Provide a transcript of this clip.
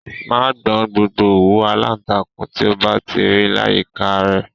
Máa gbọn gbogbo òwú aláǹtakûn tí o bá ti rí láyìíká à rẹ!